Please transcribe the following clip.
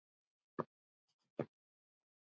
En þetta var bara bið.